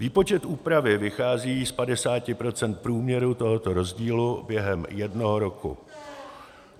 Výpočet úpravy vychází z 50 % průměru tohoto rozdílu během jednoho roku.